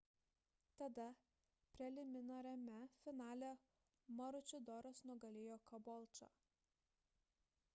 tada preliminariame finale maručidoras nugalėjo kabolčą